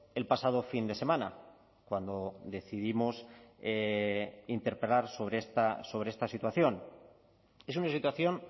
el pasado fin de semana cuando decidimos interpelar sobre esta situación es una situación